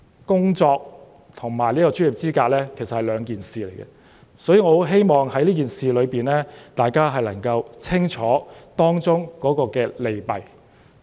工作跟專業資格是兩碼子事，所以我希望大家能夠弄清這件事的利弊。